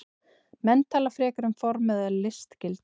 Menn tala frekar um form eða listgildi.